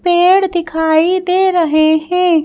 पेड़ दिखाई दे रहे हैं।